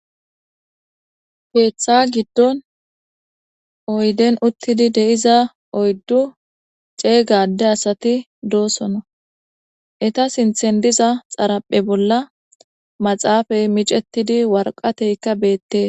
Keththa giddon oyidden uththidi dizza oyidu c'egga asati de'osona itta sinththan dizza xarappezza maxaffe mixetidi waraqattekka bettes.